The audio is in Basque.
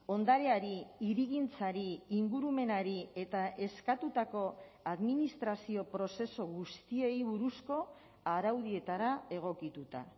ondareari hirigintzari ingurumenari eta eskatutako administrazio prozesu guztiei buruzko araudietara egokituta